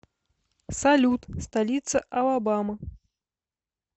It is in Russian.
салют столица алабама